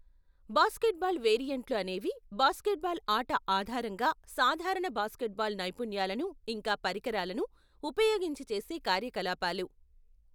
Basketball వేరియెంట్లు అనేవి basketball ఆట ఆధారంగా సాధారణ బాస్కెట్బాల్ నైపుణ్యాలను ఇంకా పరికరాలను ఉపయోగించి చేసే కార్యకలాపాలు.